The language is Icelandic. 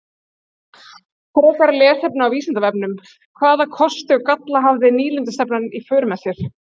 Frekara lesefni á Vísindavefnum: Hvaða kosti og galla hafði nýlendustefnan í för með sér?